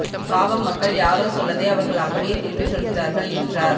பாவம் மக்கள் யாரோ சொன்னதை அவர்கள் அப்படியே திருப்பிச் சொல்கிறார்கள் என்றார்